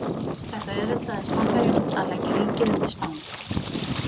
Þetta auðveldaði Spánverjum að leggja ríkið undir Spán.